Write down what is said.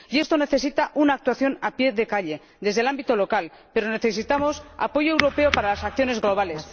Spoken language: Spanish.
Y esto necesita una actuación a pie de calle desde el ámbito local, pero necesitamos apoyo europeo para las acciones globales.